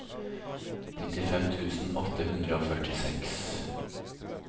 nittifem tusen åtte hundre og førtiseks